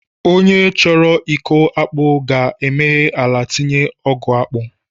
Onye chọrọ ịkọ akpu ga-emeghe ala tinye ogu akpu